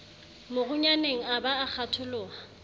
morunyaneng a ba a kgatholoha